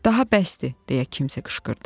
Daha bəsdir, deyə kimsə qışqırdı.